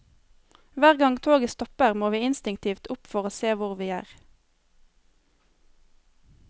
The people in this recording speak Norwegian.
Hver gang toget stopper må vi instinktivt opp for å se hvor vi er.